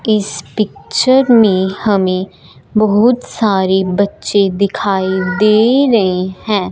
इस पिक्चर में हमें बहुत सारे बच्चे दिखाई दे रहे हैं।